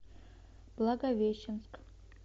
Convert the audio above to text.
благовещенск